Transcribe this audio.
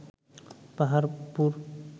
Paharpur